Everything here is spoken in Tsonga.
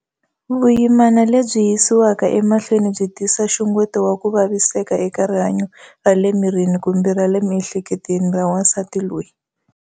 Vuyimana lebyi yisiwaka emahlweni byi tisa nxungeto wa ku vaviseka eka rihanyo ra le mirini kumbe ra le miehleketweni ra wasati loyi.